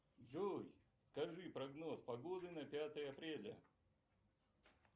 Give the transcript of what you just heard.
джой скажи прогноз погоды на пятое апреля